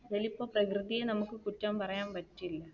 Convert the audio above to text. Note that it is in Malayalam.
പ്രകൃതിയെ നമുക്ക് കുറ്റം പറയാൻ പറ്റില്ല.